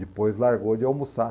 Depois largou de almoçar.